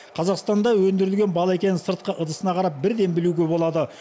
қазақстанда өндірілген бал екенін сыртқы ыдысына қарап бірден білуге болады